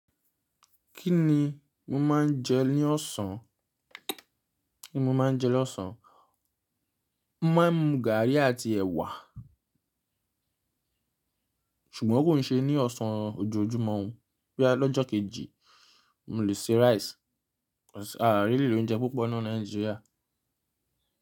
Kí ni mo máa ń jẹ ní ọ̀sán? Kí ni mo máa ń jẹ ní ọ̀sán? Mọ máa ń mú gàrí àti ẹ̀wà. Ṣùgbọ́n kò ní ṣe ní ọ̀sán ojoojúmọ́ ọ. Bóyá lọ́jọ́ kejì, mò lè ṣe rice. A really ni oúnjẹ púpọ̀ naa ni Nàìjíríà.